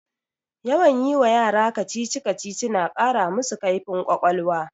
Yawan yi wa yara kacici-kacici na ƙara masu kaifin ƙwaƙwalwa